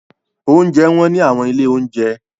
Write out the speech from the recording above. Oúnjẹ wọ́n ní àwọn ilé-oúnjẹ.